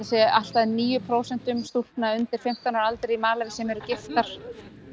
sé allt að níu prósent stúlkna undir fimmtán ára aldri í Malaví sem eru giftar